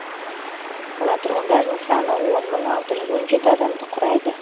қала тұрғындарының саны он мың алты жүз он жеті адамды құрайды